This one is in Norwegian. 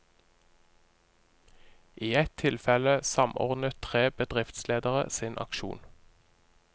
I et tilfelle samordnet tre bedriftsledere sin aksjon.